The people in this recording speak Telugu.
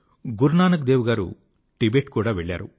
గురునానక్ దేవ్ గారు టిబెట్ కూడా వెళ్ళారు